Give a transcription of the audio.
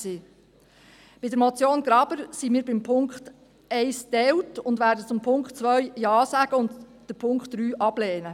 Bei der Motion Graber sind wir beim Punkt 1 geteilt und werden zum Punkt 2 Ja sagen und den Punkt 3 ablehnen.